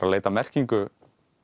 að leita að merkingu